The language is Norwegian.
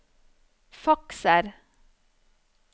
fakser